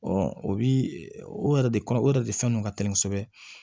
o bi o yɛrɛ de kɔnɔ o yɛrɛ de fɛn don ka teli kosɛbɛ